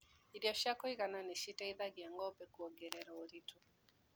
irio cia kũigana nĩciteithagia ngombe kũongerera ũritũ.